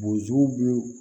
Bozuw